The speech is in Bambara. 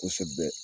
Kosɛbɛ